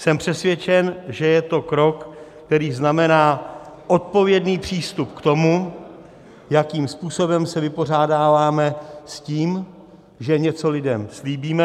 Jsem přesvědčen, že je to krok, který znamená odpovědný přístup k tomu, jakým způsobem se vypořádáváme s tím, že něco lidem slíbíme.